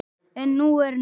En nú er nóg!